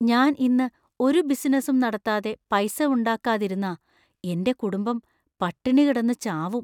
ഞാൻ ഇന്ന് ഒരു ബിസിനസും നടത്താതെ പൈസ ഉണ്ടാക്കാതിരുന്നാ എന്‍റെ കുടുംബം പട്ടിണി കിടന്ന് ചാവും.